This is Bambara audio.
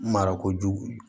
Mara ko jugu